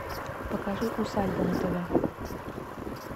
покажи усадьба на тв